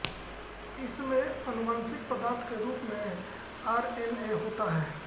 इसमें आनुवांशिक पदार्थ के रूप में आरएनए होता है